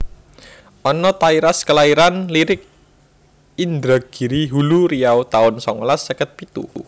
Anna Tairas kelairan Lirik Indragiri Hulu Riau taun songolas seket pitu